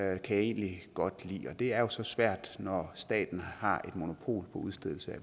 jeg egentlig godt lide men det er jo svært når staten har et monopol på udstedelse af